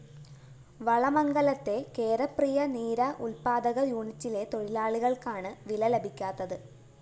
വളമംഗലത്തെ കേരപ്രിയ നീര ഉല്‍പ്പാദക യൂണിറ്റിലെ തൊഴിലാളികള്‍ക്കാണ് വില ലഭിക്കാത്തത്